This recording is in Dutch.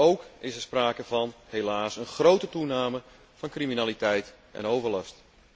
Ook is er sprake van, helaas, een grote toename van criminaliteit en overlast.